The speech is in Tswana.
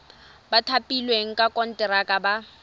ba thapilweng ka konteraka ba